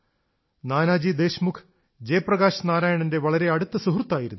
നാനാജി ദേശ്മുഖ് ജയപ്രകാശ് നാരായണന്റെ വളരെ അടുത്ത സുഹൃത്തായിരുന്നു